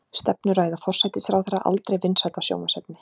Stefnuræða forsætisráðherra aldrei vinsælla sjónvarpsefni